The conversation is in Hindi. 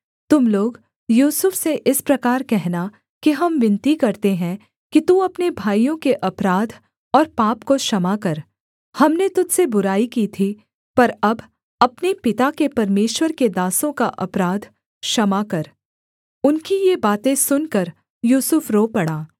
तुम लोग यूसुफ से इस प्रकार कहना कि हम विनती करते हैं कि तू अपने भाइयों के अपराध और पाप को क्षमा कर हमने तुझ से बुराई की थी पर अब अपने पिता के परमेश्वर के दासों का अपराध क्षमा कर उनकी ये बातें सुनकर यूसुफ रो पड़ा